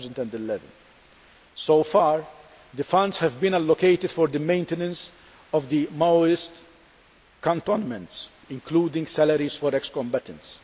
2011. So far the funds have been allocated for the maintenance of the Maoist cantonments, including salaries for ex combatants.